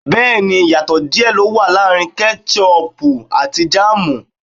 Bẹ́ẹ̀ni ìyàtò díè ló wà láàrin ketṣ-uuupu àti jámù